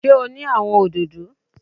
Sé o ní àwon òdòdó?